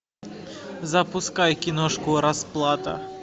запускай киношку расплата